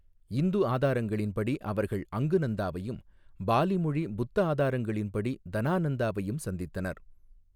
இந்து ஆதாரங்களின்படி அவர்கள் அங்கு நந்தாவையும், பாலி மொழி புத்த ஆதாரங்களின்படி தனா நந்தாவையும் சந்தித்தனர்.